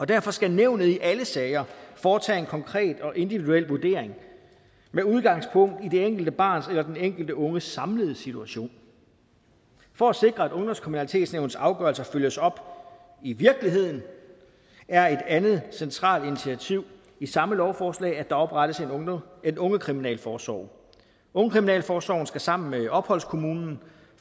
derfor skal nævnet i alle sager foretage en konkret og individuel vurdering med udgangspunkt i det enkelte barns eller den enkelte unges samlede situation for at sikre at ungdomskriminalitetsnævnets afgørelser følges op i virkeligheden er et andet centralt initiativ i samme lovforslag at der oprettes en ungekriminalforsorg ungekriminalforsorgen skal sammen med opholdskommunen